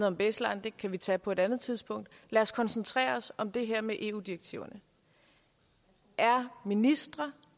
om baseline det kan vi tage på et andet tidspunkt lad os koncentrere os om det her med eu direktiverne er ministre